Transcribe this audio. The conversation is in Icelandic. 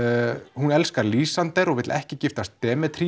hún elskar Lýsander og vill ekki giftast